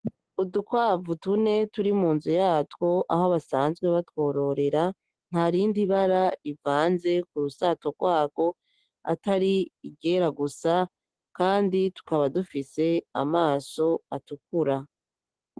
Udukwavu tune turi munzu yatwo aho basanzwe batwororera ntarindi bara rivanze kurusato rwagwo atari iryera gusa kandi tukaba dufise amaso atukura.